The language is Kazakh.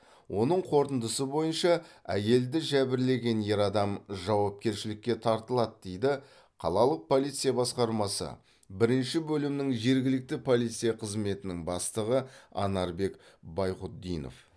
оның қорытындысы бойынша әйелді жәбірлеген ер адам жауапкершілікке тартылады дейді қалалық полиция басқармасы бірінші бөлімнің жергілікті полиция қызметінің бастығы анарбек байғұтдинов